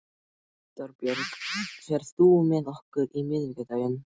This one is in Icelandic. Þorbjörg, ferð þú með okkur á miðvikudaginn?